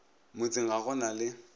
motseng ga go na le